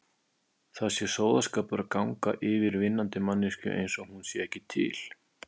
Það sé sóðaskapur að ganga yfir vinnandi manneskju einsog hún sé ekki til.